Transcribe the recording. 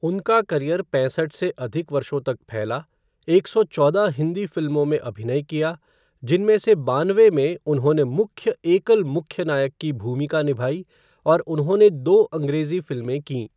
उनका करियर पैंसठ से अधिक वर्षों तक फैला, एक सौ चौदह हिंदी फ़िल्मों में अभिनय किया, जिनमें से बानवे में उन्होंने मुख्य एकल मुख्य नायक की भूमिका निभाई, और उन्होंने दो अँग्रेज़ी फ़िल्में कीं।